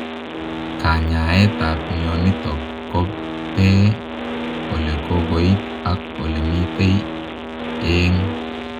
Kanyaeet ap mionitok kopee olekokoit ak olemitei eeng